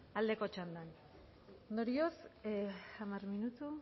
aldeko txandan ondorioz hamar minutu